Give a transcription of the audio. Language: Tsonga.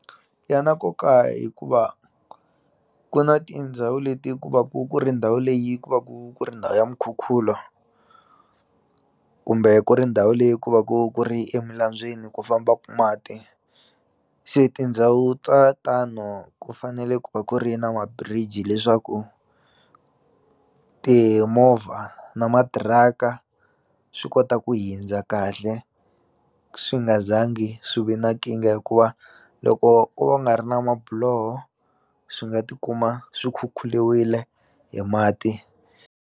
Ya na nkoka hikuva ku na tindhawu leti ku va ku ku ri ndhawu leyi ku va ku ku ri ndhawu ya mukhukhulo kumbe ku ri ndhawu leyi ku va ku ku ri eminambyeni ku fambaku mati se tindhawu ta tano ku fanele ku va ku ri na ma-bridge leswaku timovha na matiraka swi kota ku hindza kahle swi nga za ngi swi ve na nkingha hikuva loko ko va ku nga ri na mabiloho swi nga tikuma swi khukhuliwile hi mati.